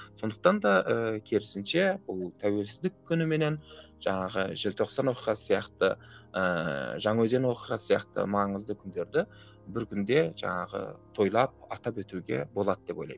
сондықтан да ыыы керісінше бұл тәуелсіздік күні менен жаңағы желтоқсан оқиғасы сияқты ыыы жаңаөзен оқиғасы сияқты маңызды күндерді бір күнде жаңағы тойлап атап өтуге болады деп ойлаймын